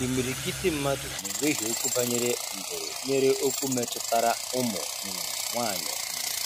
imirikiti mmadụ na-ewehie okwu banyere mbụrụ nyere okwu metụtara ụmụ um nwaanyị. um